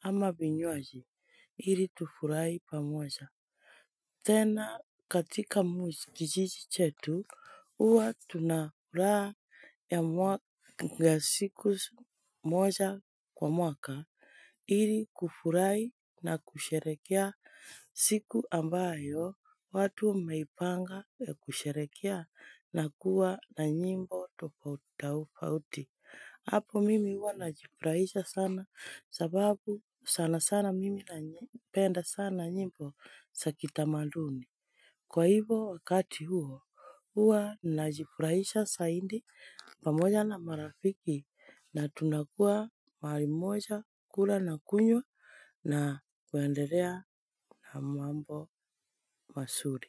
ama vinywaji ili tufurahi pamoja tena katika kijiji chetu huwa tunafuraha ya siku moja kwa mwaka ili kufurahi na kusherehekea siku ambayo watu wameipanga ya kusherehekea na kuwa na nyimbo tofauti. Tofauti, hapo mimi huwa najifurahisha sana sababu sana sana mimi napenda sana nyimbo za kitamaduni. Kwa hivyo wakati huo, huwa najifurahisha zaidi pamoja na marafiki na tunakuwa mali moja kula na kunywa na kuendelea na mambo mazuri.